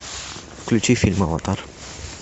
включи фильм аватар